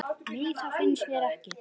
Nei, það finnst mér ekki.